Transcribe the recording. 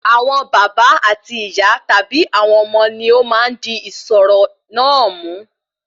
Àwọn bàbá àti ìyá tàbí ọmọ wọn ni ọ máa n di ìṣòro náà mú